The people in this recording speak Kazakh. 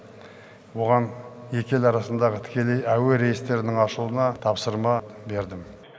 оған екі ел арасындағы тікелей әуе рейстерінің ашылуына тапсырма бердім